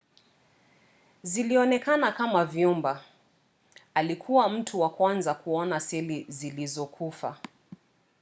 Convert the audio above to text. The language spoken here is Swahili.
zilionekana kama vyumba. alikuwa mtu wa kwanza kuona seli zilizokufa